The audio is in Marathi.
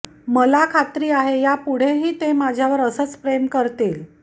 मला खात्री आहे यापुढेही ते माझ्यावर असंच प्रेम करतील